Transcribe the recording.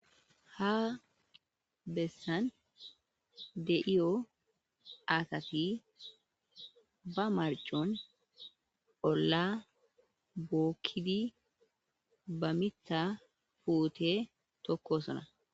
Ha besani de'ewu asati ba maricon ola bokidi ba mitha pute tokosona